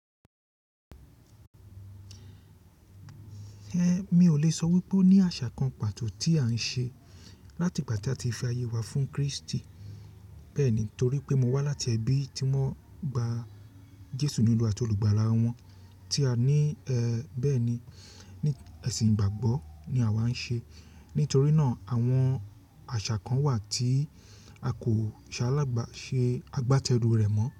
Mi ò lè sọ wípé ó ní àṣà kan pàtó tí à ń ṣe láti ìgbà tí a ti fi ayé wa fún Kristi. Bẹ́ẹ̀ ni, torí pé mo wá láti ẹbí tí wọ́n gba Jésù ní olúwa àti olùgbàlà wọn tí a ní, bẹ́ẹ̀ni, ẹ̀sìn ìgbàgbọ́ ni àwa ń ṣe. Nítorí náà àwọn àṣà kan wà tí a kò ṣe alágbà ṣe agbátẹrù rẹ̀ mọ́